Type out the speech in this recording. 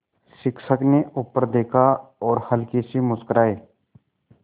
शिक्षक ने ऊपर देखा और हल्के से मुस्कराये